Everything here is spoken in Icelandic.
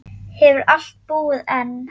Hefurðu alltaf búið einn?